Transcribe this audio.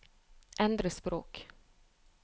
endre språk